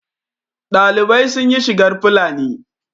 ɗalibai sun yi shigar Fulani